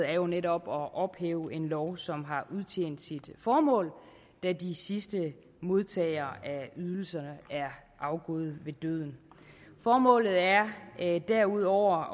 er jo netop at ophæve en lov som har udtjent sit formål da de sidste modtagere af ydelserne er afgået ved døden formålet er derudover